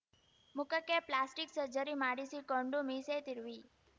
ಮುಖಕ್ಕೆ plastic surgery ಮಾಡಿಸಿಕೊಂಡು ಮೀಸೆ ತಿರುವಿ